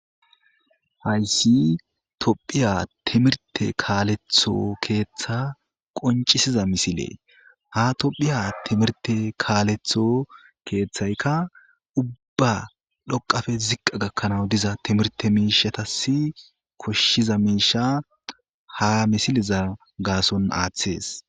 hayssi tophiya timirte kaaletho keeththa qoncisiza misile ha tophiya timirte kaaletho keeththaykka ubba dhoqafe ziqqa gakkanawu diza timirte miishatasi koshshiza miisha ha misileza gaason aaththees.